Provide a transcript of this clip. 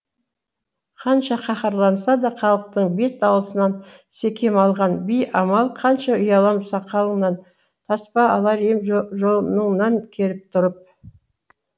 қанша қаһарланса да халықтың бет алысынан секем алған би амал қанша ұялам сақалыңнан таспа алар ем жоныңнан керіп тұрып